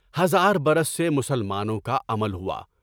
ہزار برس سے مسلمانوں کا عمل ہوا۔